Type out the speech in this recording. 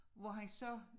Hvor han så